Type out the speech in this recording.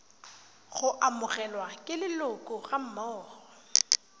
go amogelwa ke leloko gammogo